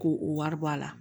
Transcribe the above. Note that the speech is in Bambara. Ko o wari bɔ a la